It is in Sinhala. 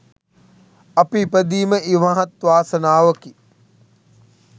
අපි ඉපදීම ඉමහත් වාසනාවකි.